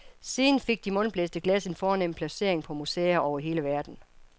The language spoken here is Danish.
Siden fik de mundblæste glas en fornem placering på museer over hele verden.